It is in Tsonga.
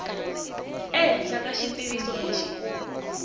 ehenhla ka xitiviso lexi u